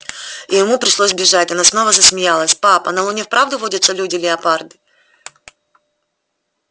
и ему пришлось бежать она снова засмеялась пап а на луне вправду водятся люди-леопарды